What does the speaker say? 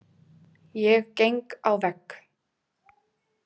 Ég geng á vegg.